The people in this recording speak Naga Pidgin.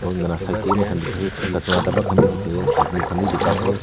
lah side teh bhi moikhan dikhai chat ta lah dabba khan bhi dikhe chatting khan bhi bika ase.